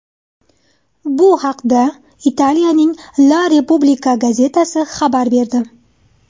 Bu haqda Italiyaning La Repubblica gazetasi xabar berdi .